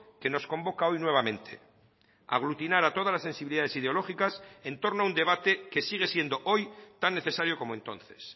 que nos convoca hoy nuevamente aglutinar a todas las sensibilidades ideológicas en torno a un debate que sigue siendo hoy tan necesario como entonces